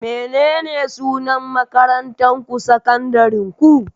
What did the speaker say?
Menene sunan makarantarku sakandarenku?